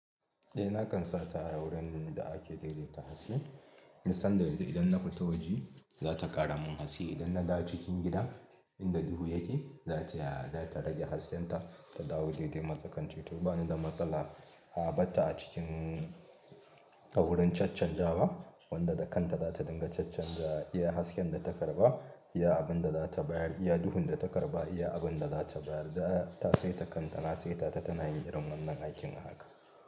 Eh nakan sa ta a wurin da ake daidaita hatsi, ni sanda da idan na fita waje za ta ƙara mun haske, idan na dawo cikin gida inda duhu yake, za ta rage haskenta ta dawo daidai matsakance, to ba ni da matsala a ɓarta a cikin a wurin caccanjawa wanda da kanta za ta dinga caccanja iya hasken da ta karɓa, iya abin da za ta bayar, iya duhun da ta karɓa, iya abin da za ta bayar. Ta saita kanta na saitata tana yin irin wannan aikin a haka.